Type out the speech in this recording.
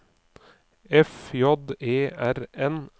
F J E R N